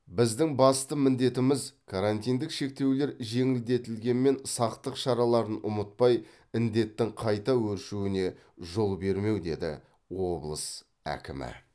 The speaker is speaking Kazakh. біздің басты міндетіміз карантиндік шектеулер жеңілдетілгенмен сақтық шараларын ұмытпай індеттің қайта өршуіне жол бермеу деді облыс әкімі